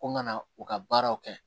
Ko ŋa na u ka baaraw kɛ